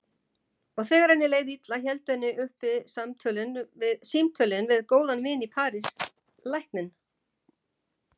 Og þegar henni leið illa héldu henni uppi símtölin við góðan vin í París, lækninn